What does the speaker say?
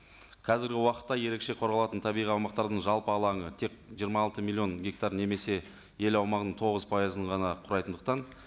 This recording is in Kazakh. қазіргі уақытта ерекше қорғалатын табиғи аумақтардың жалпы алаңы тек жиырма алты миллион гектар немесе ел аумағының тоғыз пайызын ғана құрайтындықтан